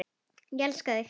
Ég elskaði þig.